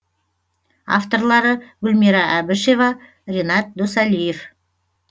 авторлары гүлмира әбішева ренат досалиев